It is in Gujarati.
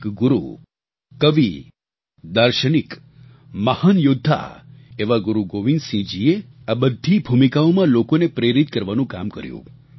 એક ગુરુ કવિ દાર્શનિક મહાન યૌદ્ધા એવા ગુરુ ગોવિંદસિંહજીએ આ બધી ભૂમિકાઓમાં લોકોને પ્રેરિત કરવાનું કામ કર્યું